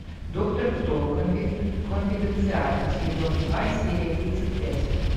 доктор кто конфиденциальный сезон два серия тридцать пять